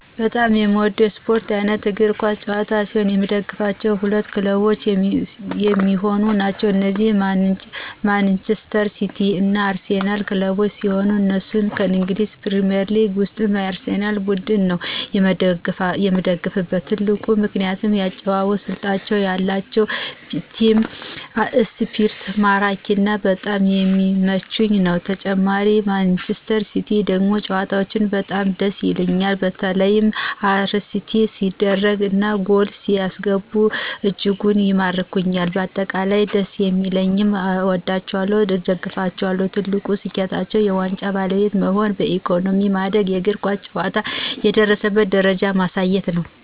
በጣም የምወደው የስፖርት አይነት የእግር ኳስ ጨዋታ ሲሆን የምደግፈው ሁለት ክለቦች የሚሆኑ ናቸው እነዚህም ማንጅስተር ሲቲ እና አርሲናል ክለቦችን ሲሆን እነሱም ከእንግሊዝ ፕሪሜርሊግ ውስጥ የአርሴናል ቡድን ነው የምደግፍበት ትልቁ ምክንያት የአጨዋወት ስልታቸው የአላቸው ቲም እስፕሪት ማራኪና በጣም ስለሚመቸኝ ነው ተጨማሪ ማንጅስተር ሲቲ ደግሞ ጨዋታቸው በጣም ደስ ይሉኞል በተላ አሲስት ሲደርጉ እና ጎል ሲያስገቡ እጅጉን ይማርኩኞል በአጠቃላይ ደስ ሰለሚለኝ አወዳቸዋለሁ እደግፋቸዋለሁም። ትልቁ ስኬታቸው የዋንጫ ባለቤት መሆን በኢኮኖሚ ማደግና የእግር ኳስ ጨዋታ የደረሰበትን ደረጃ ማሳየት ነው።